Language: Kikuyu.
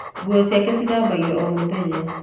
Nguo ciake cithambagio o mũthenya